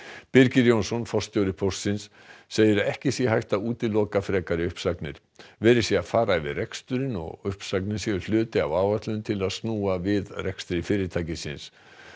Birgir Jónsson forstjóri Póstsins segir að ekki sé hægt að útiloka frekari uppsagnir verið sé að fara yfir reksturinn og uppsagnir séu hluti af áætlun til að snúa við rekstri fyrirtækisins